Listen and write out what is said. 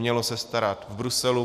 Mělo se starat v Bruselu.